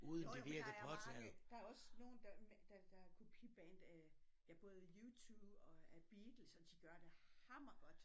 Jo jo men der er mange der er også nogen der der der er kopi band af ja både U2 og af Beatles og de gør det hammer godt